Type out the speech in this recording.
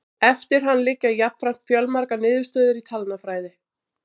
Eftir hann liggja jafnframt fjölmargar niðurstöður í talnafræði.